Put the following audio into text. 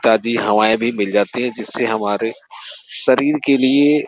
ताजी हवाएं भी मिल जाती है जिससे हमारे शरीर के लिए --